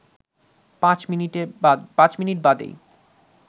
পাঁচ মিনিট বাদেই